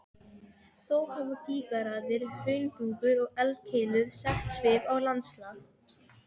Þó hafa gígaraðir, hraunbungur og eldkeilur sett svip á landslag.